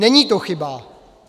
Není to chyba.